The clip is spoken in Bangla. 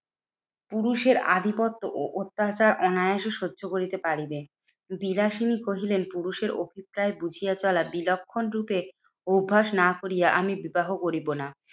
পুরুষের আধিপত্য ও অত্যাচার অনায়াসে সহ্য করিতে পারিবেন। বিলাসিনী কহিলেন, পুরুষের অভিপ্রায় বুঝিয়া চলা বিলক্ষণ রূপে অভ্যাস না করিয়া আমি বিবাহ করিবো না।